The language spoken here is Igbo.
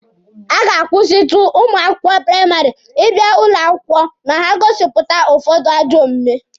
A ga-akwụsịtụ ụmụ akwụkwọ praịmarị ịbịa ụlọ akwụkwọ ma ha gosipụta ụfọdụ ajọ omume.